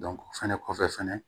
o fɛnɛ kɔfɛ fɛnɛ